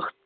ਬ~